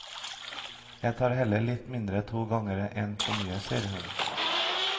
Jeg tar heller litt mindre to ganger enn én for mye, sier hun.